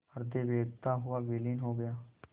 हृदय वेधता हुआ विलीन हो गया